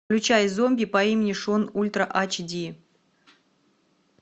включай зомби по имени шон ультра айч ди